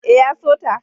E, ya so ta.